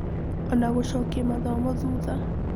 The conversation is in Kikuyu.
Ona gũcokia mathomo thutha.